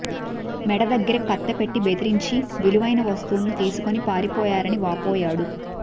మెడ దగ్గర కత్తి పెట్టి బెదిరించి విలువైన వస్తువులు తీసుకొని పారిపోయారని వాపోయాడు